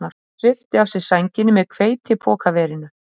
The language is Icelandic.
Hann svipti af sér sænginni með hveitipokaverinu